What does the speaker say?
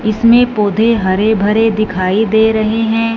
इसमें पौधे हरे भरे दिखाई दे रहे हैं।